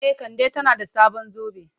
E, Kande tana da sabon zobe.